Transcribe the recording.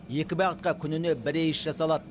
екі бағытқа күніне бір рейс жасалады